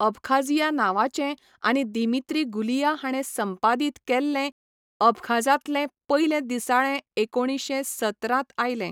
Abkhazia नांवाचें आनी Dmitri Gulia हाणें संपादीत केल्लें अबखाझांतलें पयलें दिसाळें एकोणीशें सतरांत आयलें.